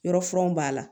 Yɔrɔfanw b'a la